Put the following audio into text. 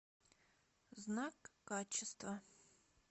знак качества